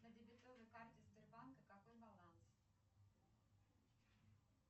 на дебетовой карте сбербанка какой баланс